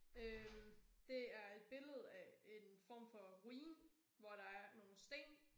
Øh det er et billede af en form for ruin hvor der er nogle sten